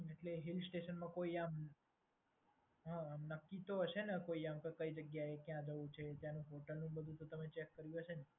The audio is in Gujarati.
એટલે હિલ્સટેશનમાં કોઈ આમ હમ નક્કી તો હશે ને કઈ આમ તો કયા જવું છે ત્યાંનું હોટલનું તો તમે ચેક કર્યું હશે ને?